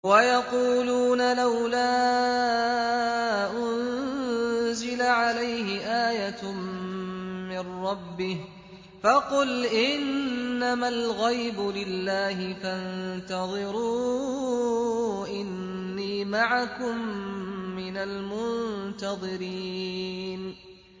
وَيَقُولُونَ لَوْلَا أُنزِلَ عَلَيْهِ آيَةٌ مِّن رَّبِّهِ ۖ فَقُلْ إِنَّمَا الْغَيْبُ لِلَّهِ فَانتَظِرُوا إِنِّي مَعَكُم مِّنَ الْمُنتَظِرِينَ